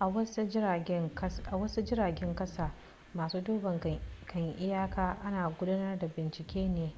a wasu jiragen kasa masu duban kan iyaka ana gudanar da bincike ne